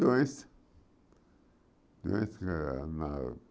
Doença.